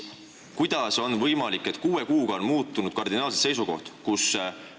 Kuidas on võimalik, et kuue kuuga on seisukoht kardinaalselt muutunud?